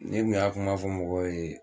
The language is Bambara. Ne kun y'a kuma fɔ mɔgɔw ye